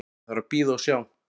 Ég þarf að bíða og sjá.